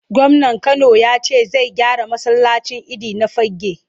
Gwamnan Kano ya ce zai gyara masallacin idi na Fagge.